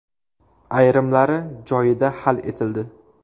Ayrimlari joyida hal etildi.